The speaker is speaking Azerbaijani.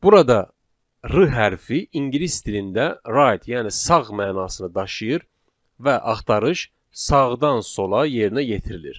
Burada r hərfi ingilis dilində right, yəni sağ mənasını daşıyır və axtarış sağdan sola yerinə yetirilir.